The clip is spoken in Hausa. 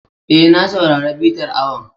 E, na saurari bitar awon.